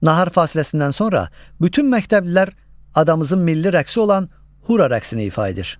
Nahar fasiləsindən sonra bütün məktəblilər adamızın milli rəqsi olan Hura rəqsini ifa edir.